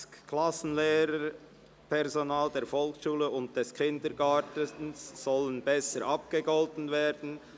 «Klassenlehrpersonen der Volksschule und des Kindergartens sollen besser abgegolten werden».